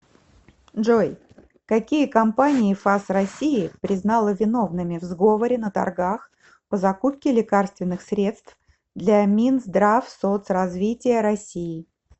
джой какие компании фас россии признала виновными в сговоре на торгах по закупке лекарственных средств для минздравсоцразвития россии